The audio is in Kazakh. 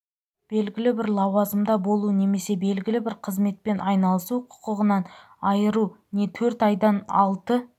белгілі бір лауазымда болу немесе белгілі бір қызметпен айналысу құқығынан айыру не төрт айдан алты